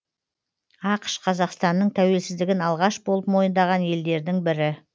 ақш қазақстанның тәуелсіздігін алғаш болып мойындаған елдердің бірі